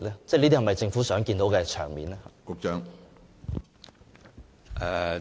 這是否政府想看到的場面呢？